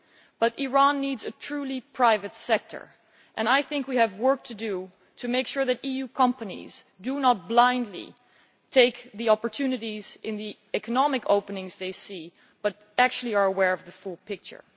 But Iran needs a truly private sector, and I think we have work to do to make sure that EU companies do not blindly take the opportunities in the economic openings they see but are actually aware of the full picture.